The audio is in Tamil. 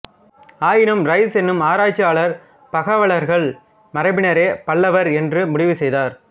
ஆயினும் ரைஸ் என்னும் ஆராய்ச்சியாளர் பகலவர்கள் மரபினரே பல்லவர் என்று முடிவு செய்தார்